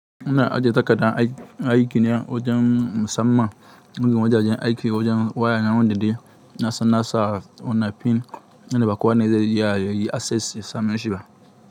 Ina ajje takardan aiki ne wajen musamman, wajajen aiki wajen waya na wanda de na san na sa wannan pin yanda ba kowa ne zai iya yayi assessin ya same shi ba.